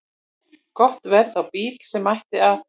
Gott verð á bíl sem ætti að